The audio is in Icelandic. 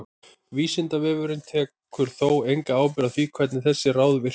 Vísindavefurinn tekur þó enga ábyrgð á því hvernig þessi ráð virka.